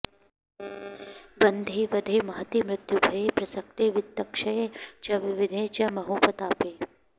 बन्धे वधे महति मृत्युभये प्रसक्ते वित्तक्षये च विविधे च महोपतापे